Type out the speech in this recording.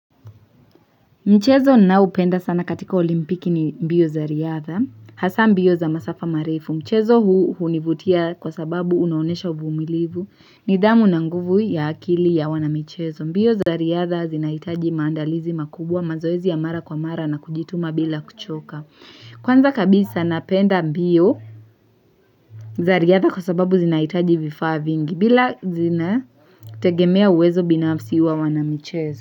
Mchezo ninaoupenda sana katika olimpiki ni mbio za riadha, hasa mbio za masafa marefu, mchezo huu hunivutia kwa sababu unaonesha uvumilivu, nidhamu na nguvu ya akili ya wanamichezo, mbio za riadha zinahitaji maandalizi makubwa mazoezi ya mara kwa mara na kujituma bila kuchoka, kwanza kabisa napenda mbio za riadha kwa sababu zinahitaji vifaa vingi bila zina tegemea uwezo binafsi wa wanamichezo.